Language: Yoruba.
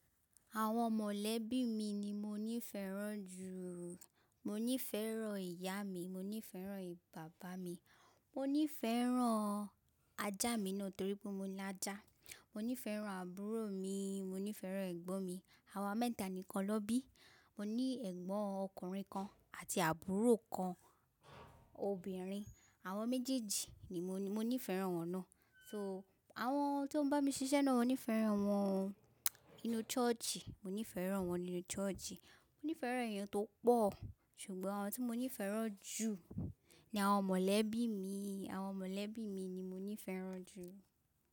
Àwọn mọ̀lẹ́bí mi ni mo nífẹ̀ẹ́ rán ju. Mo nífẹ̀ran ìyá mi, mo nífẹ̀ran bàbá mi, mo nífẹ̀ran ajá mi náà torí pé mo ní ajá, mo nífẹ̀ran àbúrò mi, mo nífẹ̀ran ẹ̀gbọ́n mi. Awa mẹ́ta nìkan lọ bí. Mo ní ẹ̀gbọ́n ọkùnrin kan àti àbúrò kan obìnrin. Àwọn méjèèjì ni mo nífẹ̀ran wọn ná. So àwọn tó ń bá mi ṣiṣẹ́ náà mo nífẹ̀ran wọn nínú church. Mo nífẹ̀ran wọn nínú church. Mo nífẹ̀ran èèyàn tó pọ̀. Ṣùgbọ́n àwọn tí mo nífẹ̀ran rán ju ni àwọn mọ̀lẹ́bí mi. Àwọn mọ̀lẹ́bí mi ni mo nífẹ̀ẹ́ rán ju.